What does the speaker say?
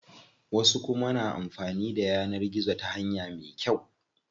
Wasu kuma na amfanin da yanar gizo ta hanya me kyau.